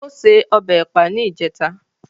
Ó se ọbẹ̀ Ẹ̀pà ní ìjẹta